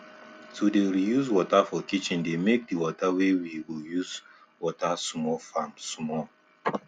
to dey reuse water for kitchendey make the water wey we go use water small farms small